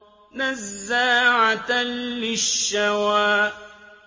نَزَّاعَةً لِّلشَّوَىٰ